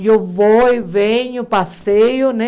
Eu vou, e venho, passeio, né?